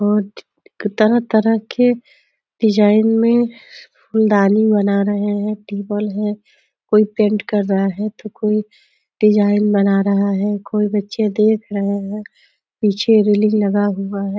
और तरह तरह के डिज़ाइन में फूलदानी बना रहे है। टेबल है कोई पेंट कर रहा है तो कोई डिज़ाइन बना रहा है। कोई बच्चे देख रहे है। पीछे रेलिंग लगा हुआ है।